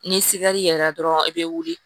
Ni yɛlɛla dɔrɔn i be wuli